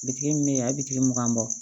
Bitigi min bɛ yen a ye bitigi mugan bɔ